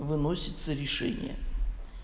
выносится решение